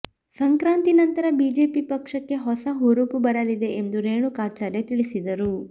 ಸಂಕ್ರಾಂತಿ ನಂತರ ಬಿಜೆಪಿ ಪಕ್ಷಕ್ಕೆ ಹೊಸ ಹುರುಪು ಬರಲಿದೆ ಎಂದು ರೇಣುಕಾಚಾರ್ಯ ತಿಳಿಸಿದರು